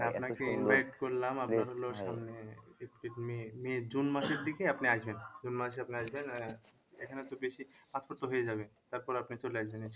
আপনাকে invite করলাম নিয়ে june মাসের দিকে আপনি আসবেন june মাসে আপনি আসবেন আহ এখানে তো বেশি passport তো হয়ে যাবে তারপর আপনি চলে আসবেন